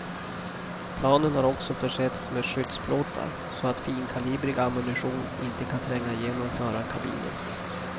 Planen har också försetts med skyddsplåtar så att finkalibrig ammunition inte kan tränga igenom förarkabinen.